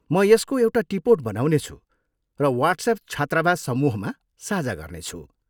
म यसको एउटा टिपोट बनाउनेछु र वाट्सएप छात्रावास समूहमा साझा गर्नेछु।